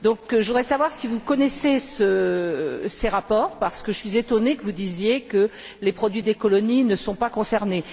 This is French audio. Je voudrais savoir si vous connaissez ces rapports, parce que je suis étonnée que vous disiez que les produits des colonies ne sont pas concernés.